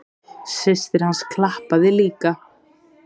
Systir hans klappaði líka.